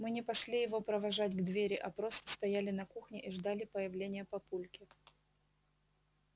мы не пошли его провожать к двери а просто стояли на кухне и ждали появления папульки